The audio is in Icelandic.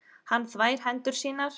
Hann þvær hendur sínar.